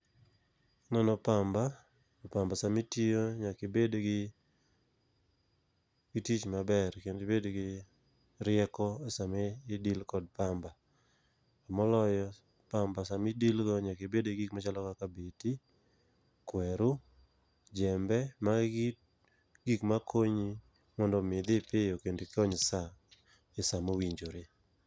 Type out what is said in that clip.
E golo pamba pamba sami tiyo nyaki bed gi gi tich maber kendi bed gi rieko sama ideal kod pamba. Moloyo pamba sami deal go nyaki bed gi gik machalo kaka beti , kweru, jembe. Magi gik makonyi mondi dhi piyo kendi kony sa e saa mowinjore.